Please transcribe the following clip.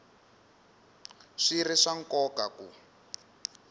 swi ri swa nkoka ku